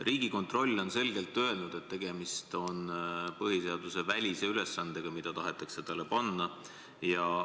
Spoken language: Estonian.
Riigikontroll on selgelt öelnud, et tegemist on põhiseadusvälise ülesandega, mis nüüd tahetakse talle panna.